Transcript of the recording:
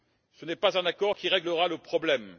Ce n'est pas un accord qui réglera le problème.